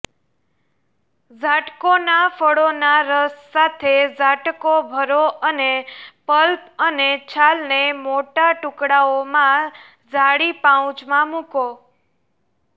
ઝાટકોના ફળોના રસ સાથે ઝાટકો ભરો અને પલ્પ અને છાલને મોટા ટુકડાઓમાં જાળી પાઉચમાં મૂકો